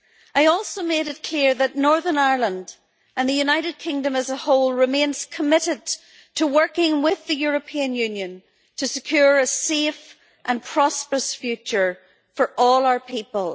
I also made it clear that Northern Ireland and the United Kingdom as a whole remains committed to working with the European Union to secure a safe and prosperous future for all our people.